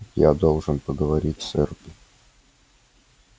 я должен поговорить с эрби